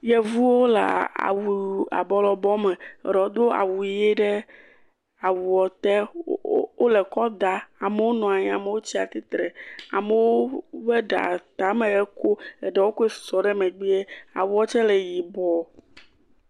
Yevuwo le awu vovovo abɔ lɔbɔ me, eɖewo do awu ʋi ɖe awua te, wo..wo..wo..wole kɔ daa, amewo nɔ anyi amewo tsi atsitre, amewo woɖa tame kom eɖewo ko susɔ ɖe megbee eɖewo tse le yibɔ.